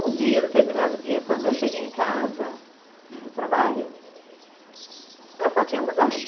Um dia, determinado dia, quando eu cheguei em casa do trabalho, o pessoal tinha mudado.